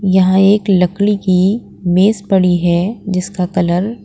यहां एक लकली की मेस पड़ी है जिसका कलर ---